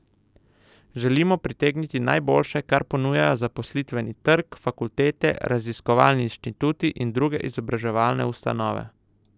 Želimo pritegniti najboljše, kar ponujajo zaposlitveni trg, fakultete, raziskovalni inštituti in druge izobraževalne ustanove.